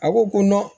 A ko ko